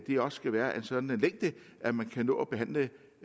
de også skal være af en sådan længde at man kan nå at behandle